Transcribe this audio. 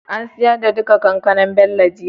an siyar da duka Kankanar Bello jiya?